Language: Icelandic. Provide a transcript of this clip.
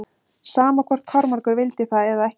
Sama hvort Kormákur vildi það eða ekki.